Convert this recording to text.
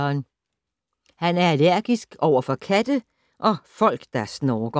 Han er allergisk overfor katte og folk, der snorker!